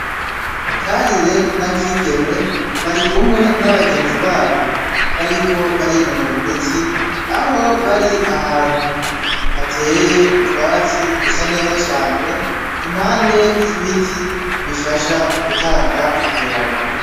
Karire na Kigeme barikumwe n'abagenzi babo bariko barinonora imitsi, aho bari ahantu hateye utwatsi dusa neza cane impande y'ibiti bifasha gutanga akayaga.